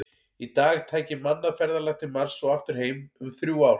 Í dag tæki mannað ferðalag til Mars og aftur heim um þrjú ár.